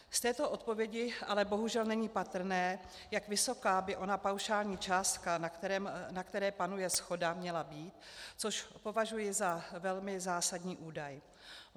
Z této odpovědi ale bohužel není patrné, jak vysoká by ona paušální částka, na které panuje shoda, měla být, což považuji za velmi zásadní údaj.